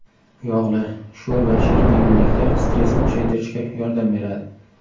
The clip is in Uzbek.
Yog‘li, sho‘r va shirin yeguliklar stressni kuchaytirishga yordam beradi.